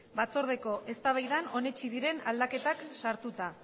batzordeko eztabaidan onetsi diren aldaketak sartuta